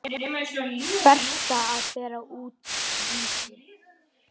Berta að bera út Vísi.